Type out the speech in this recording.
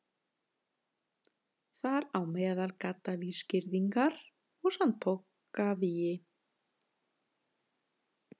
Þar á meðal gaddavírsgirðingar og sandpokavígi.